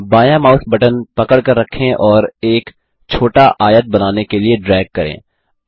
बायाँ mouse button पकड़कर रखें और एक छोटा आयत बनाने के लिए ड्रैग करें